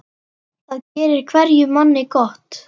Það gerir hverjum manni gott.